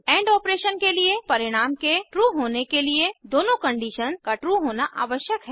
and operation के लिए परिणाम के ट्रू होने के लिए दोनों कंडीशन का ट्रू होना आवश्यक है